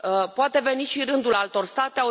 Poate veni și rândul altor state.